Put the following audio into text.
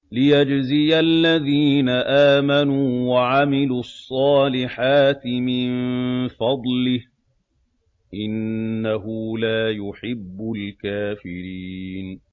لِيَجْزِيَ الَّذِينَ آمَنُوا وَعَمِلُوا الصَّالِحَاتِ مِن فَضْلِهِ ۚ إِنَّهُ لَا يُحِبُّ الْكَافِرِينَ